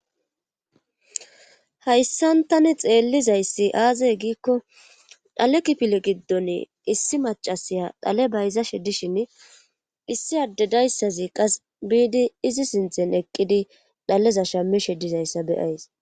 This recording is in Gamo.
hayssan tani xeellizayssi aazay giikko dhale kipile giddon issi macasiya dhale bayza shedishin issi addedayssazi qas biidi izi sinthen eqqidi dhaleza shammi sheddizayssa beyays